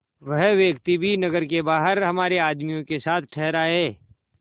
वह व्यक्ति भी नगर के बाहर हमारे आदमियों के साथ ठहरा है